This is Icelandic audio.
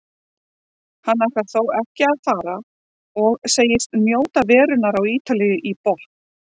Hann ætlar þó ekki að fara og segist njóta verunnar á Ítalíu í botn.